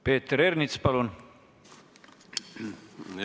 Peeter Ernits, palun!